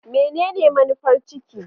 Menene manufar ciki?